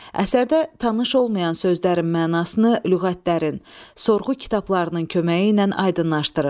Əsərdə tanış olmayan sözlərin mənasını lüğətlərin, sorğu kitablarının köməyi ilə aydınlaşdırın.